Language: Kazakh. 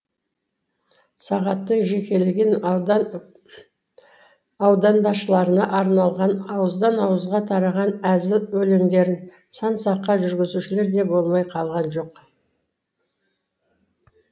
сағаттың жекелеген аудан басшыларына арнаған ауыздан ауызға тараған әзіл өлеңдерін сан саққа жүгірзушілері де болмай қалған жоқ